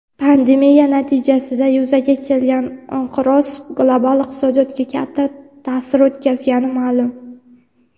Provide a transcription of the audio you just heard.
Pandemiya natijasida yuzaga kelgan inqiroz global iqtisodiyotga katta ta’sir o‘tkazgani ma’lum.